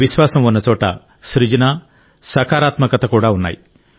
విశ్వాసం ఉన్నచోట సృజన సకారాత్మకత కూడా ఉన్నాయి